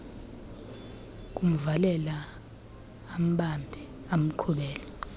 kumvalela ambambe amqhubele